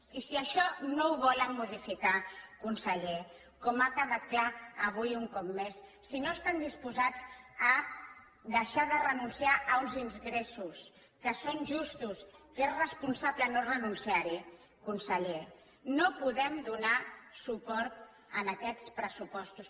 i si això no ho volen modificar conseller com ha quedat clar avui un cop més si no estan disposats a deixar de renunciar a uns ingressos que són justos que és responsable no renunciar hi conseller no podem donar suport a aquests pressupostos